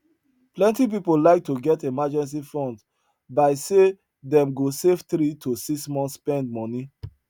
plenty people like to get emergency fund by say them go save three to six months spend money